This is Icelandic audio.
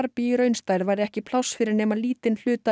í raunstærð væri ekki pláss fyrir nema lítinn hluta